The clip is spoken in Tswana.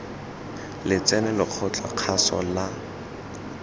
letseno lekgotla la kgaso la